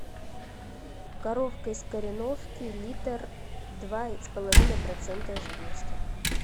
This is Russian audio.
коровка из кореновки литр два с половиной процента жирности